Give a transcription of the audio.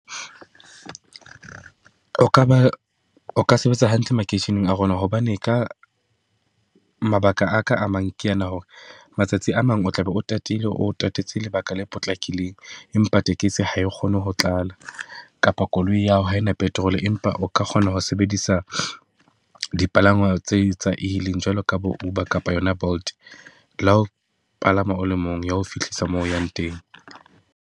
O ka ba o ka sebetsa hantle makeisheneng a rona, hobane ka mabaka aka a mang, ke ena hore matsatsi a mang o tla be o tatile, o tatetse lebaka le potlakileng. Empa tekesi ha e kgone ho tlala, kapa koloi ya hao ha ena petrol empa o ka kgona ho sebedisa dipalangwa tse tsa e-hailing jwalo ka bo Uber kapa yona Bolt. Le ha o palama o le mong, e ya ho fihlisa mo o yang teng.